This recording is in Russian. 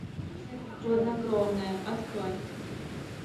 хладнокровная открой